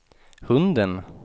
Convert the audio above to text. hunden